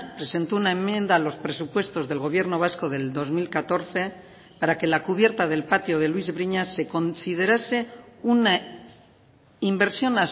presentó una enmienda a los presupuestos del gobierno vasco del dos mil catorce para que la cubierta del patio de luis briñas se considerase una inversión